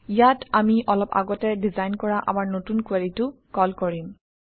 ইয়াত আমি অলপ আগতে ডিজাইন কৰা আমাৰ নতুন কুৱেৰিটো কল কৰিম